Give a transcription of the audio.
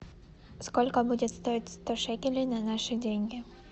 сколько будет стоить сто шекелей на наши деньги